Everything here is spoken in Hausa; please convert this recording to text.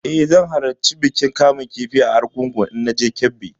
Eh, zan halarci bikin kamun kifi na argungu idan na je Kebbi.